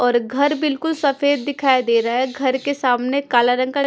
और घर बिल्कुल सफेद दिखाई दे रहा है घर के सामने काला रंग का--